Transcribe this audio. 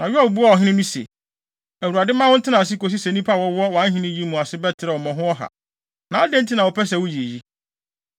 Na Yoab buaa ɔhene no se, “ Awurade mma wo ntena ase kosi sɛ nnipa a wɔwɔ wʼahenni yi mu ase bɛterɛw mmɔho ɔha. Na adɛn nti na wopɛ sɛ woyɛ eyi?”